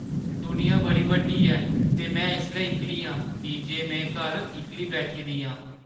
दुनिया बड़ी बड्डी ऐ ते में इसलै इक्कली आं की जे में घर इक्कली बैठी दी आं।